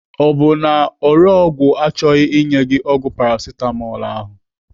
Ọ bụ na ore ọgwụ achọghị inye gị ọgwụ Paracetamol ahụ?